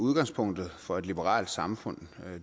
udgangspunktet for et liberalt samfund